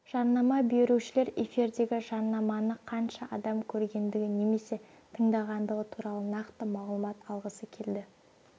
жарнама берушілер эфирдегі жарнаманы қанша адам көргендігі немесе тыңдағандығы туралы нақты мағлұмат алғысы келді